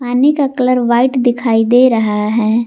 पानी का colour white दिखाई दे रहा है।